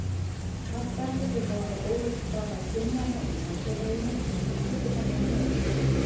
Margt bendir til þess að ólík staða kynjanna í samfélaginu skýri þennan mun.